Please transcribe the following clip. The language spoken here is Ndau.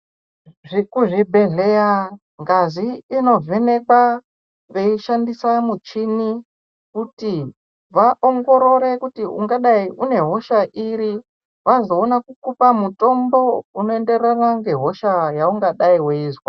Kuzvibhedhleya ngazi inovhenekwa veishandisa muchini kuti vaongorore kuti ungadai une hosha iri. Vazoona kukupa mutombo unoengerana ngehosha yaungadai uizwa.